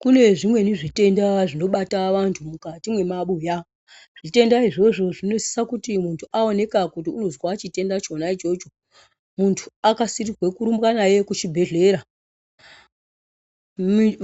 Kune zvimweni zvitenda zvinobata vantu mwukati mwemabuya. Zvitenda izvozvo zvinosisa kuti muntu aoneka kuti unozwa chitenda ichona ichocho, muntu akasirirwe kurumbwa naye kuchibhedhlera